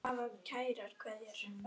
Það gerði Smári.